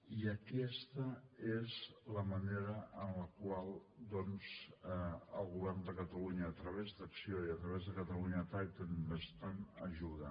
i aquesta és la manera en la qual doncs el govern de catalunya a través d’acció i a través de catalonia trade investment ajuda